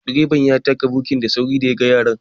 Direban ya taka birki da sauri da ya ga yaran